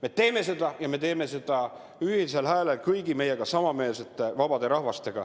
Me teeme seda, ja me teeme seda ühisel häälel kõigi vabade rahvastega, kes meiega ühel meelel on.